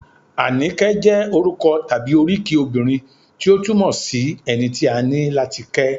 Àníkẹ́ jẹ́ orúkọ tàbí oríkì obìnrin tí ó túmọ̀ sí - ẹni tí a ní láti kẹ́